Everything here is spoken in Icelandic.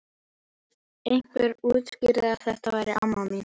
Einhver útskýrði að þetta væri amma mín.